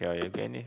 Jaa, Jevgeni!